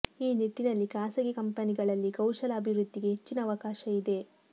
ಈ ನಿಟ್ಟಿನಲ್ಲಿ ಖಾಸಗಿ ಕಂಪನಿಗಳಲ್ಲಿ ಕೌಶಲ ಅಭಿವೃದ್ಧಿಗೆ ಹೆಚ್ಚಿನ ಅವಕಾಶ ಇದೆ